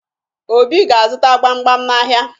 Obi ga-azụta gbamgbam n'ahịa